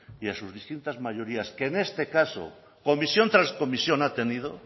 y a sus distintas mayorías que en este caso comisión tras comisión ha tenido